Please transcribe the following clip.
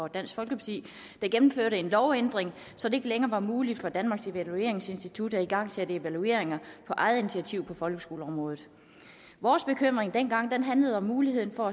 dansk folkeparti gennemførte en lovændring så det ikke længere var muligt for danmarks evalueringsinstitut at igangsætte evalueringer på eget initiativ på folkeskoleområdet vores bekymring dengang handlede om muligheden for